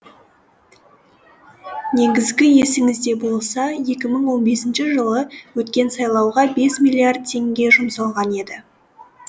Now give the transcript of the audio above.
негізі есіңізде болса екі мың он бесінші жылы өткен сайлауға бес миллиард теңге жұмсалған еді